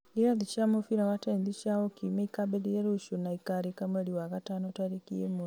irathi cia mũbira wa tenethi cia o kiumia ikambĩrĩria rũciũ na ikarĩka mweri wa gatano tarĩki ĩmwe